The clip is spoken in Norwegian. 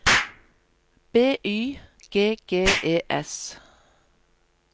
B Y G G E S